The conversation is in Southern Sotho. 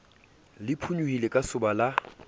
le phonyohile ka soba la